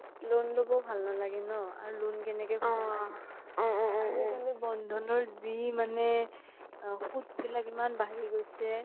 loan ল্'বও ভাল নালাগে ন আৰু loan কেনেকে আজি কালি বন্দ্ধানৰ যি মানে সোত বিলাক ইমান বাঢ়ি গৈছে